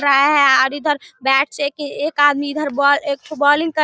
इधर bat check एक आदमी इधर बो एक ठो बोलिंग कर रहा --